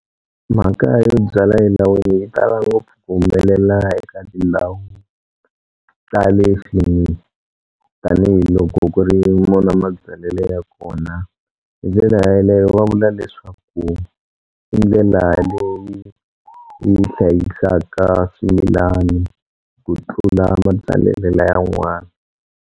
Mhaka yo byala elawini yi tala ngopfu ku humelela eka tindhawu ta le tanihiloko ku ri mona mabyalelo ya kona hi ndlela yaleyo va vula leswaku i ndlela leyi yi hlayisaka swimilani ku tlula mabyalele la ya n'wani.